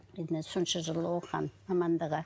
енді мына сонша жыл оқыған мамандығы